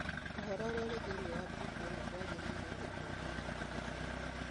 Ũhoro ũrĩa ũrĩ thĩinĩ wa mbuku ĩno ndwagĩrĩire na ndwagĩrĩire kũhũthĩrũo.